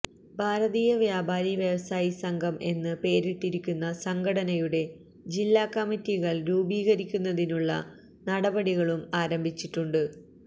ഭാരതീയ വ്യാപാരി വ്യവസായി സംഘം എന്ന് പേരിട്ടിരിക്കുന്ന സംഘടനയുടെ ജില്ലാ കമ്മറ്റികള് രൂപീകരിക്കുന്നതിനുള്ള നടപടികളും ആരംഭിച്ചിട്ടുണ്ട്